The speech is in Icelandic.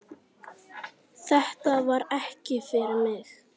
Þetta var ekki fyrir mig